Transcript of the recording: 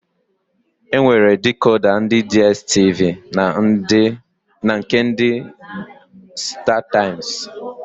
E nwere dikoda ndị Diestivi na nke ndị Stataịmsị.